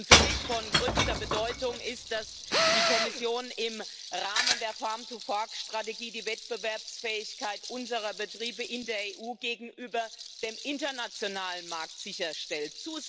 Für mich von größter Bedeutung ist, dass die Kommission im Rahmen der Strategie die Wettbewerbsfähigkeit unserer Betriebe in der EU gegenüber dem internationalen Markt sicherstellt.